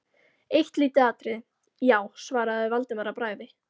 Eitt lítið atriði, já- svaraði Valdimar að bragði.